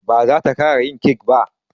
Ba zata ƙara yin kek ba.